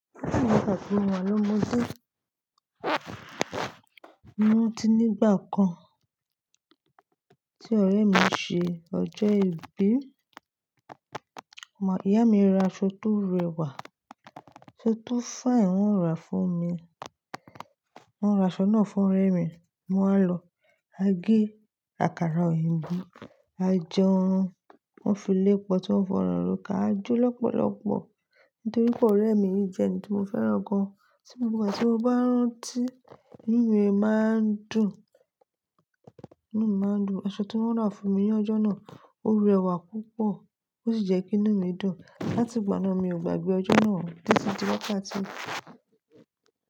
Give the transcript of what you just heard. Ní ìgbà tí mo wà lómọdé, mo rántí nígbà kan tí ọ̀rẹ́ mi ṣe ọjọ́ ìbí. Ọmọ ìyá mi ra aṣọ tó rẹwà, aṣọ tó finẹ, wọ́n ra fún mi. Wọ́n ra aṣọ náà fún ọ̀rẹ́ mi, mo máa lọ. A gé àkàrà òyìnbó, a jẹun, wọ́n filé pọtí wọ́n fọ̀nà rokà a jó lọ́pọ̀lọ́pọ̀. Nítorí pé ọ̀rẹ́ mi jẹ́ ẹni tí mo fẹ́ràn gan. Ní gbogbo ìgbà tí mo bá ń rántí, inú mi máa ń dùn. Inú mi máa ń dùn. Aṣọ tí wọ́n ra fún mi ní ọjọ́ náà ó rẹwà púpọ̀ ó sì jẹ́ kí inú mi dùn. Láti ìgbà náà mi ò gbàgbé ọjọ́ náà títí di wákàtí.